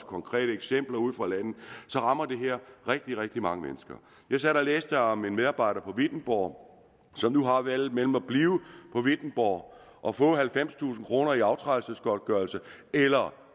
konkrete eksempler ude fra landet så rammer det her rigtig rigtig mange mennesker jeg sad og læste om en medarbejder på wittenborg som nu har valget mellem at blive på wittenborg og få halvfemstusind kroner i aftrædelsesgodtgørelse eller